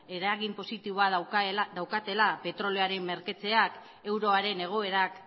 eragin positiboa daukatela petrolioaren merkatzeak euroaren egoerak